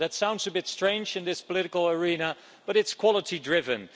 That sounds a bit strange in this political arena, but it's quality-driven.